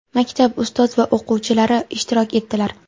maktab ustoz va o‘quvchilari ishtirok etdilar.